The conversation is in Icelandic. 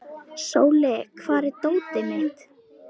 Sóli, hvar er dótið mitt?